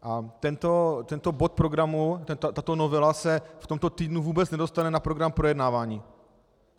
A tento bod programu, tato novela se v tomto týdnu vůbec nedostane na program projednávání.